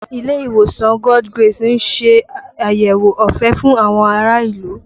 Ilé ìwòsàn God's grace ń ṣe àyẹ̀wò ọ̀fẹ́ fún àwọn ará ìlú